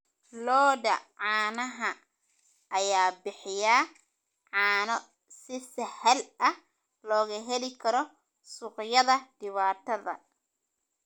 Lo'da caanaha ayaa bixiya caano si sahal ah looga heli karo suuqyada dibadda.